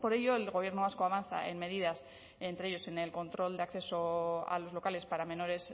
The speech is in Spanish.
por ello el gobierno vasco avanza en medidas entre ellos en el control de acceso a los locales para menores